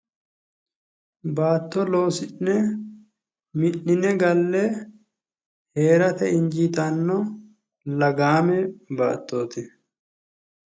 Baatto loosi'ne mi'nine galle hee'rate injiitanno baattoti.